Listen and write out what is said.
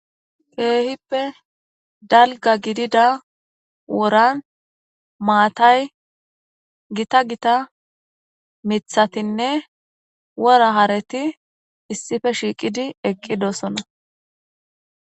keehippe dalga gidida woran maatay gita gita mithatinne wora hareti issife shiiqidi eqqidosona